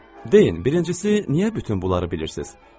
Deyin, birincisi niyə bütün bunları bilirsiz?